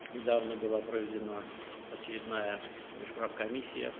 Bu yaxınlarda növbəti hökumətlərarası komissiya keçirilib.